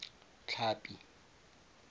tlhapi